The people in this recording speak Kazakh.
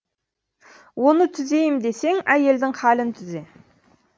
оны түзейім десең әйелдің халін түзе